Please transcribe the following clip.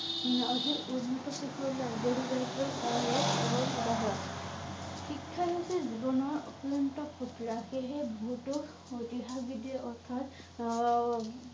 শিক্ষাই হৈছে জীৱনৰ অক্লান্ত সেই হে ভুল টো বৃদ্ধি অৰ্থাৎ আহ